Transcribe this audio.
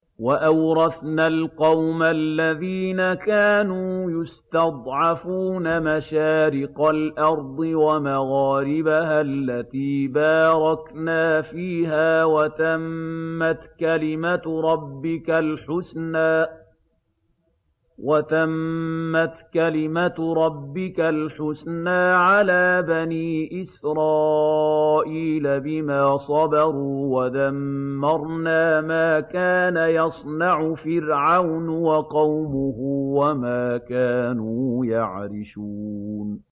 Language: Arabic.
وَأَوْرَثْنَا الْقَوْمَ الَّذِينَ كَانُوا يُسْتَضْعَفُونَ مَشَارِقَ الْأَرْضِ وَمَغَارِبَهَا الَّتِي بَارَكْنَا فِيهَا ۖ وَتَمَّتْ كَلِمَتُ رَبِّكَ الْحُسْنَىٰ عَلَىٰ بَنِي إِسْرَائِيلَ بِمَا صَبَرُوا ۖ وَدَمَّرْنَا مَا كَانَ يَصْنَعُ فِرْعَوْنُ وَقَوْمُهُ وَمَا كَانُوا يَعْرِشُونَ